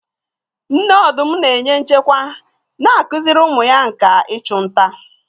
Nne ọdụm na-enye nchekwa, na-akụziri ụmụ ya nkà ịchụ nta.